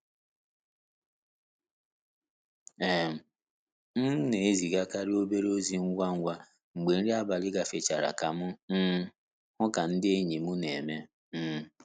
um M n'ezigakarị obere ozi ngwa ngwa mgbe nri abalị gafechara ka m um hụ ka nde enyi m n'eme. um